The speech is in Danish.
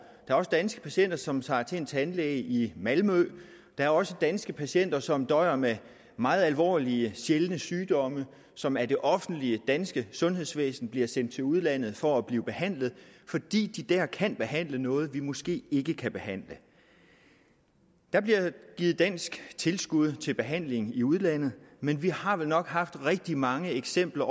er også danske patienter som tager til en tandlæge i malmø der er også danske patienter som døjer med meget alvorlige sjældne sygdomme som af det offentlige danske sundhedsvæsen bliver sendt til udlandet for at blive behandlet fordi de der kan behandle noget vi måske ikke kan behandle der bliver givet dansk tilskud til behandling i udlandet men vi har vel nok haft rigtig mange eksempler